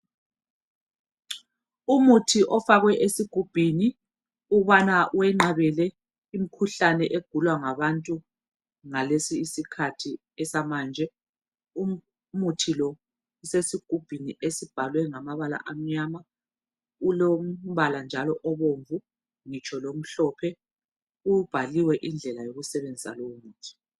Umuthi ofakwe esigubhini ukubana wenqamele imikhuhlane egulwa ngabantu ngalesi isikhathi esamanje umuthi lo usesigubhini esibhalwe ngamabala amnyama ulombala njalo obomvu ngitsho lomhlophe ubhaliwe indlela yokusebenzisa lowo muthi.